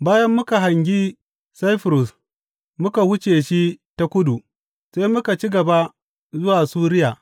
Bayan muka hangi Saifurus muka wuce shi ta kudu, sai muka ci gaba zuwa Suriya.